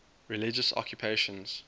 religious occupations